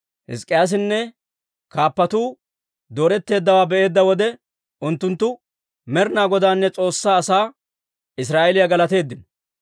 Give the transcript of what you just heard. Hizk'k'iyaasinne kaappatuu dooretteeddawaa be'eedda wode, unttunttu Med'inaa Godaanne S'oossaa asaa Israa'eeliyaa galateeddino.